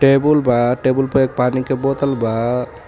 Table बा table पर एक पानी के बोतल बा।